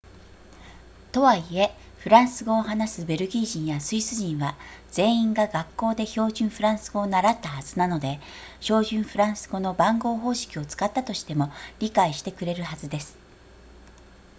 とはいえフランス語を話すベルギー人やスイス人は全員が学校で標準フランス語を習ったはずなので標準フランス語の番号方式を使ったとしても理解してくれるはずです